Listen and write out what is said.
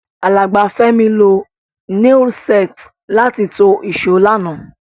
Alàgbà Fẹ́mi lo nail set láti to ìsó lánàá